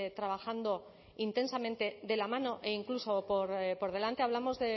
trabajando intensamente de la mano e incluso por delante hablamos